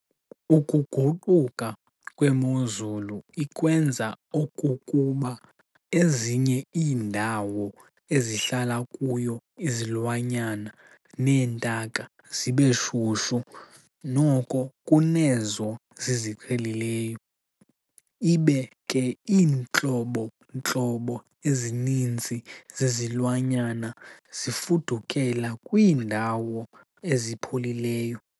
Ukuguquka kwemozulu ikwenza okokuba ezinye iindawo ezihlala kuyo izilwanyana neentaka zibeshushu, noko kunezo ziziqhelileyo ibe ke iintlobo ntlobo ezininzi zezilwanyana zifudukela kwiindawo ezipholileyo.